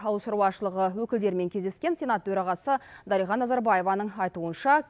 ауыл шаруашылығы өкілдерімен кездескен сенат төрағасы дариға назарбаеваның айтуынша